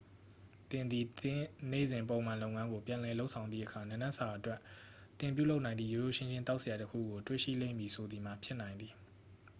သင်သည် သင့်နေ့စဉ်ပုံမှန်လုပ်ငန်းကို ပြန်လည်လုပ်ဆောင်သည့်အခါ နံနက်စာအတွက် သင်ပြုလုပ်နိုင်သည့် ရိုးရိုးရှင်းရှင်း သောက်စရာတစ်ခုကို တွေ့ရှိလိမ့်မည်ဆိုသည်မှာ ဖြစ်နိုင်သည်